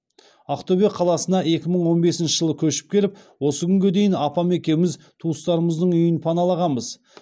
ақтөбе қаласына екі мың он бесінші жылы көшіп келіп осы күнге дейін апам екеуміз туыстарымыздың үйін паналағанбыз